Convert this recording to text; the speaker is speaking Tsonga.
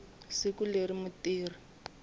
siku leri mutirhi a nga